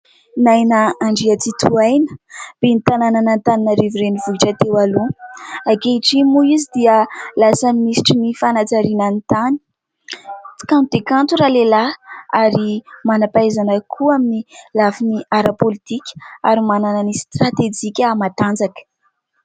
"Naina Andriantsitohaina", ben'ny tanànan'Antananarivo renivohitra teo aloha, ankehitriny moa izy dia lasa minisitry ny fanajariana ny tany. Kanto dia kanto ralehilahy ary manampahaizana koa amin'ny lafin'ny ara-politika ary manana ny stratejika matanjaka